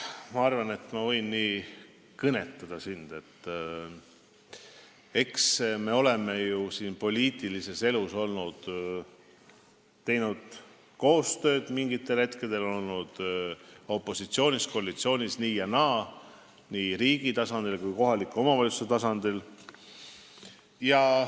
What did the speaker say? Ma arvan, et ma võin sind nii kõnetada, sest eks me oleme ju poliitilises elus teinud mingitel hetkedel koostööd, olnud opositsioonis, koalitsioonis, nii ja naa, nii riigi tasandil kui ka kohaliku omavalitsuse tasandil.